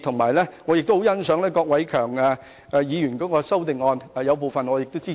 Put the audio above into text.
我亦十分欣賞郭偉强議員的修正案，對當中部分內容表示支持。